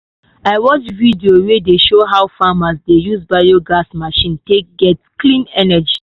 i watch video wey show how farmers dey use biogas machine take get clean energy.